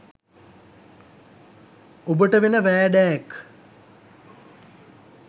ඔබට වෙන වෑඩෑක්